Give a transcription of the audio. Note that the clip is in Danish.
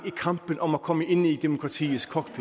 i kampen om at komme ind i demokratiets cockpit